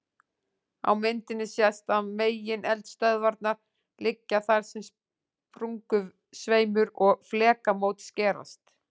Á myndinni sést að megineldstöðvarnar liggja þar sem sprungusveimur og flekamót skerast.